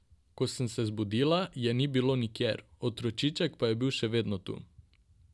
Ko sem se zbudila, je ni bilo nikjer, otročiček pa je bil še vedno tu.